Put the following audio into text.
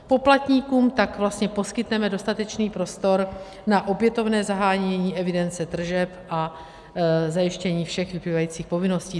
Poplatníkům tak vlastně poskytneme dostatečný prostor na opětovné zahájení evidence tržeb a zajištění všech vyplývajících povinností.